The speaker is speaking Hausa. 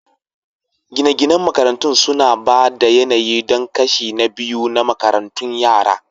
Gine-ginen makarantun suna ba da yanayi don kashi na biyu na karatun yara